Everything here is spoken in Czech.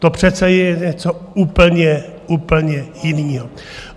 To přece je něco úplně, úplně jiného.